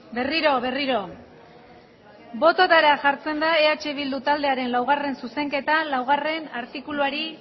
berriro berriro botoetara jartzen da eh bildu taldearen laugarrena zuzenketa laugarrena